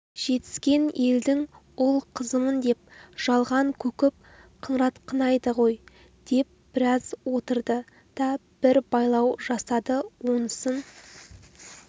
жетіскен елдің ұл-қызымын деп жалған көкіп қыңыратқынайды ғой деп біраз отырды да бір байлау жасады онысын